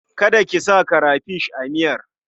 Kada ki sa karafish a miyar.